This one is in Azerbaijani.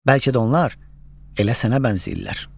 Bəlkə də onlar elə sənə bənzəyirlər.